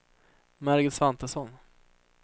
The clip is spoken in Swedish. Margit Svantesson